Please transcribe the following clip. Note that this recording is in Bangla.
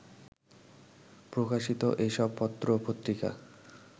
প্রকাশিত এসব পত্রপত্রিকা